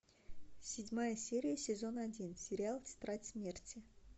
седьмая серия сезон один сериал тетрадь смерти